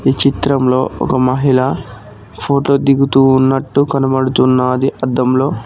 ఈ చిత్రంలో ఒక మహిళ ఫోటో దిగుతున్నట్టు కనబడుతున్నది అద్దంలో.